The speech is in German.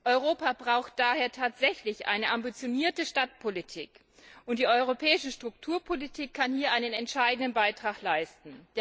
Europa braucht daher tatsächlich eine ambitionierte Stadtpolitik, und die europäische Strukturpolitik kann hier einen entscheidenden Beitrag leisten.